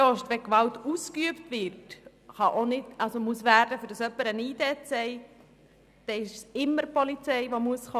Wenn Gewalt ausgeübt werden muss, damit jemand seine Identitätskarte (ID) zeigt, muss immer die Polizei kommen.